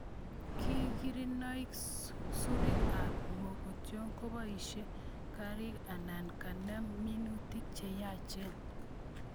Kikirinoi susurik ab mugongiot keboishe karik anan kenem minutik che yachen